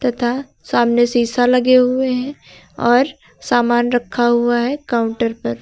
तथा सामने शीशा लगे हुए हैं और सामान रखा हुआ है काउंटर पर।